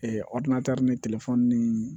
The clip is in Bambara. ni ni